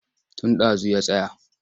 Tun ɗazu ya tsaya.